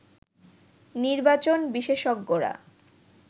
নির্বাচন বিশেষজ্ঞরা